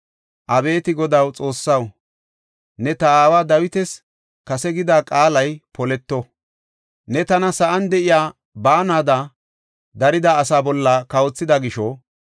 Abeeti Godaw, Xoossaw, ne ta aawa Dawitas kase gida qaalay poleto. Ne tana sa7an de7iya baanada darida asaa bolla kawothida gisho,